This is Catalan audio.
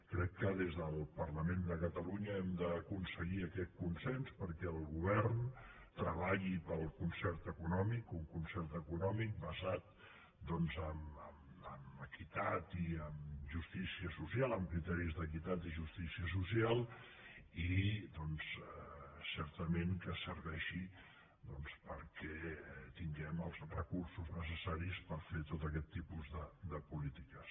crec que des del parlament de catalunya hem d’aconseguir aquest consens perquè el govern treballi pel concert econòmic un concert econòmic basat en criteris d’equitat i justícia social i que certament serveixi perquè tinguem els recursos necessaris per fer tot aquest tipus de polítiques